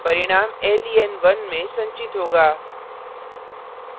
परिणाम len1 में संचित होगा